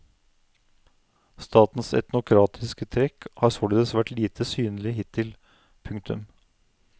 Statens etnokratiske trekk har således vært lite synlige hittil. punktum